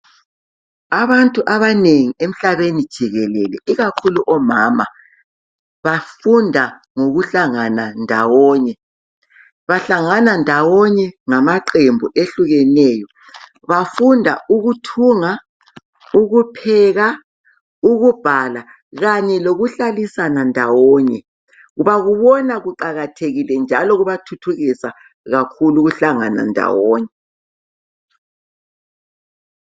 Abantu abanengi emhlabeni jikelele ikakhulu omama bafunda ngokuhlangana ndawonye. Bahlangana ndawonye ngamaqembu ehlukeneyo. Bafunda ukuthunga, ukupheka, ukubhala kanye lokuhlalisana ndawonye. Bakubona kuqakathekile njalo kubathuthukisa kakhulu ukuhlangana ndawonye.